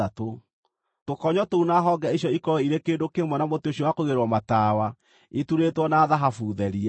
Tũkonyo tũu na honge icio ikorwo irĩ kĩndũ kĩmwe na mũtĩ ũcio wa kũigĩrĩrwo matawa, iturĩtwo na thahabu therie.